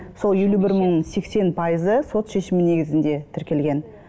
сол елу бір мың сексен пайызы сот шешімі негізінде тіркелген